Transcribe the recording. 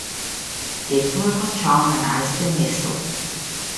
Tekmo je končal na enajstem mestu.